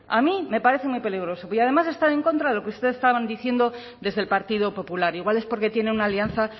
a mí me parece muy peligroso y además está en contra de lo que ustedes estaban diciendo desde el partido popular igual es porque tienen una alianza